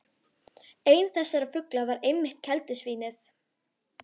Einn þessara fugla var einmitt keldusvín- ið.